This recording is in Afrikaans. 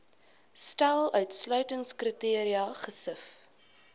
stel uitsluitingskriteria gesif